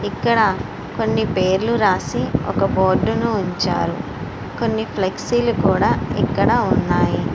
ఇక్కడ కొన్ని పేర్లను రాసి ఒక బోర్డు ని ఉంచారు ఫ్లెక్సీ లు కూడా ఇక్కడ ఉన్నాయి.